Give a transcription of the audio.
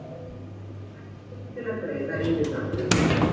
Dæmdur til að greiða yfirdráttinn